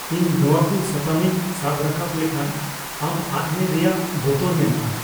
ᱤᱧ ᱱᱚᱣᱟᱠᱩ ᱥᱟᱛᱟᱢᱤᱧ ᱥᱟᱵ ᱨᱟᱠᱟᱵ ᱞᱮᱠᱷᱟᱱ ᱟᱢ ᱟᱫ ᱢᱮ ᱨᱮᱭᱟᱜ ᱵᱚᱛᱚᱨ ᱢᱮᱱᱟᱜᱼᱟ ᱾